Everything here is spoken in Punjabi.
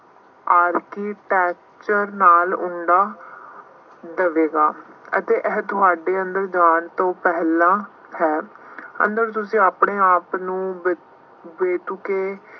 ਆਰਤੀ ਨਾਲ ਦੇਵੇਗਾ ਅਤੇ ਇਹ ਤੁਹਾਡੇ ਅੰਦਰ ਜਾਣ ਤੋਂ ਪਹਿਲਾਂ ਹੈ। ਅੰਦਰ ਤੁਸੀਂ ਆਪਣੇ ਆਪ ਨੂੰ ਬਤ ਬੇਤੁਕੇ